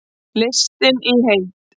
Listinn í heild